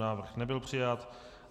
Návrh nebyl přijat.